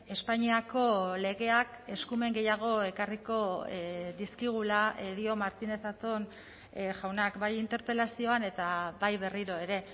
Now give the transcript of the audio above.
espainiako legeak eskumen gehiago ekarriko dizkigula dio martínez zatón jaunak bai interpelazioan eta bai berriro ere